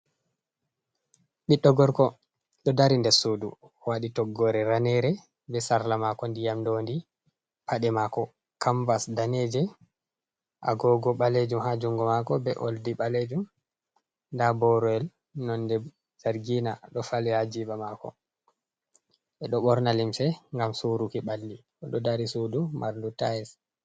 Ɓiɗɗo gorko ɗo dari nder sudu waɗi toggore ranere, be sarla mako ndiyam dondi, pade mako kambas daneje agogo ɓalejum ha jungo mako be oldi ɓalejum. nda boro nonde zargina ɗo fali hajiba mako. ɓeɗo ɓorna limse ngam suruki ɓalli oɗo dari sudu mardu tayis.